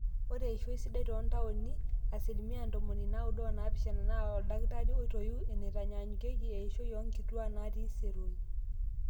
ore eishoi sidai toontaoni asilimia ntomoni naaudo oopishana naa oldakitari oitoiwuo eneitanyanyuki oeishoi oonkituaak naatii iseroi